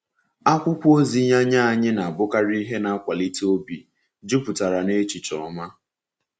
Akwụkwọ ozi ya nye anyị na-abụkarị ihe na-akwalite obi, jupụtara n’echiche ọma.